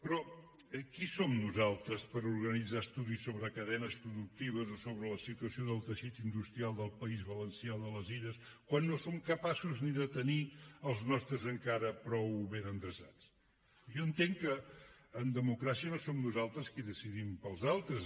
però qui som nosaltres per organitzar estudis sobre cadenes productives o sobre la situació del teixit industrial del país valencià de les illes quan no som capaços ni de tenir els nostres encara prou ben endreçats jo entenc que en democràcia no som nosaltres qui decidim pels altres